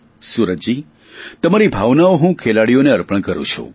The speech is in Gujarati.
સુરજજી તમારી ભાવનાઓ હું ખેલાડીઓને અર્પણ કરું છું